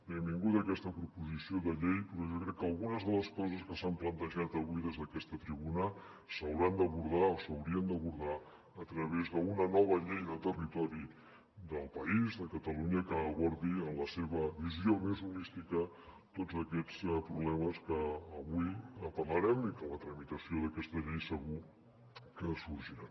benvinguda aquesta proposició de llei però jo crec que algunes de les coses que s’han plantejat avui des d’aquesta tribuna s’hauran d’abordar o s’haurien d’abordar a través d’una nova llei de territori del país de catalunya que abordi en la seva visió més holística tots aquests problemes que avui en parlarem i que en la tramitació d’aquesta llei segur que sorgiran